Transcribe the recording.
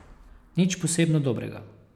Nič posebno dobrega.